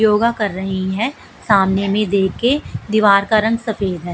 योगा कर रही है सामने में देख के दीवार का रंग सफेद है।